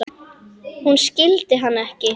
Hún skildi hann ekki.